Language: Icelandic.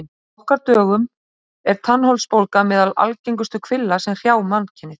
Á okkar dögum er tannholdsbólga meðal algengustu kvilla sem hrjá mannkynið.